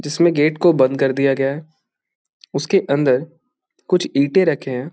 जिसमें गेट को बंद कर दिया गया है। उसके अंदर कुछ ईंटें रखें हैं।